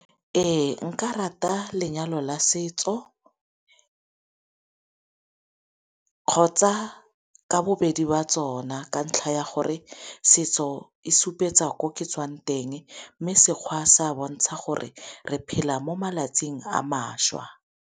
Ee nka rata lenyalo la setso kgotsa ka bobedi ba tsona, ka ntlha ya gore setso e se supetsa ko ke tswang teng mme Sekgowa sa bontsha gore re phela mo malatsing a mašwa.